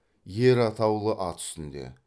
ер атаулы ат үстінде